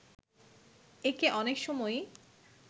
একে অনেক সময়ই